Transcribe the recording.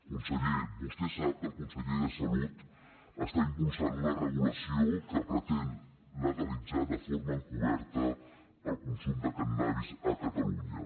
conseller vostè sap que el conseller de salut està impulsant una regulació que pretén legalitzar de forma encoberta el consum de cànnabis a catalunya